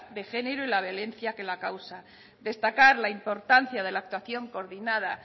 de género y la violencia que la causa destacar la importancia de la actuación coordinada